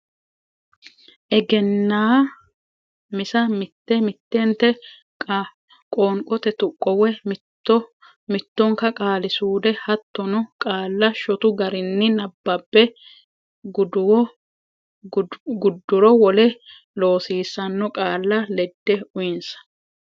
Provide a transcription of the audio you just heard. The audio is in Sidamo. Egennaa misa mitte mittenta qoonqote tuqqo woy mitto mittonka qaali suude hattono qaalla shotu garinni nabbabbe gudduro wole loosiissanno qaalla ledde uyinsa.